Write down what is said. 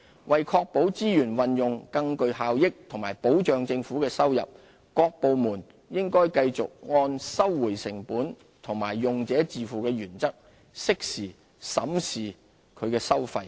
為確保資源運用更具效益和保障政府的收入，各部門應繼續按"收回成本"和"用者自付"原則，適時審視其收費。